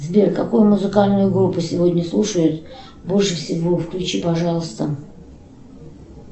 сбер какую музыкальную группу сегодня слушают больше всего включи пожалуйста